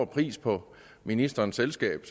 pris på ministerens selskab